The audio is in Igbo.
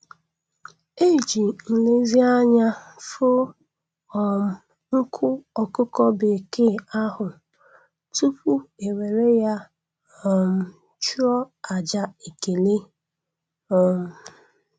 E ji nlezianya foo um nku ọkụkọ bekee ahụ tupu ewere ya um chụọ àjà ekele. um